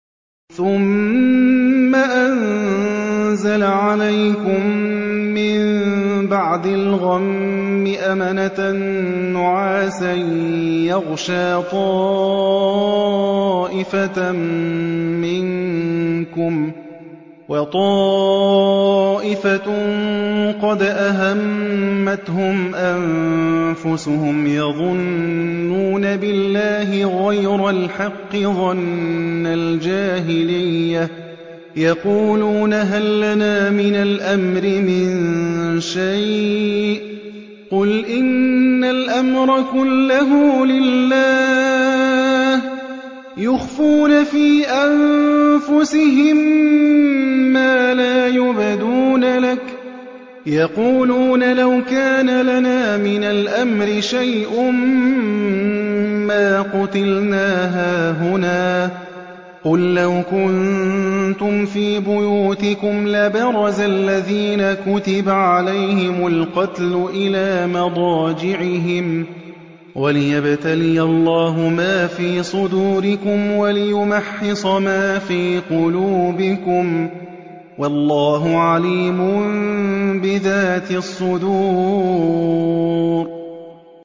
ثُمَّ أَنزَلَ عَلَيْكُم مِّن بَعْدِ الْغَمِّ أَمَنَةً نُّعَاسًا يَغْشَىٰ طَائِفَةً مِّنكُمْ ۖ وَطَائِفَةٌ قَدْ أَهَمَّتْهُمْ أَنفُسُهُمْ يَظُنُّونَ بِاللَّهِ غَيْرَ الْحَقِّ ظَنَّ الْجَاهِلِيَّةِ ۖ يَقُولُونَ هَل لَّنَا مِنَ الْأَمْرِ مِن شَيْءٍ ۗ قُلْ إِنَّ الْأَمْرَ كُلَّهُ لِلَّهِ ۗ يُخْفُونَ فِي أَنفُسِهِم مَّا لَا يُبْدُونَ لَكَ ۖ يَقُولُونَ لَوْ كَانَ لَنَا مِنَ الْأَمْرِ شَيْءٌ مَّا قُتِلْنَا هَاهُنَا ۗ قُل لَّوْ كُنتُمْ فِي بُيُوتِكُمْ لَبَرَزَ الَّذِينَ كُتِبَ عَلَيْهِمُ الْقَتْلُ إِلَىٰ مَضَاجِعِهِمْ ۖ وَلِيَبْتَلِيَ اللَّهُ مَا فِي صُدُورِكُمْ وَلِيُمَحِّصَ مَا فِي قُلُوبِكُمْ ۗ وَاللَّهُ عَلِيمٌ بِذَاتِ الصُّدُورِ